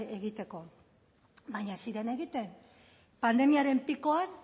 egiteko baina ez ziren egiten pandemiaren pikoan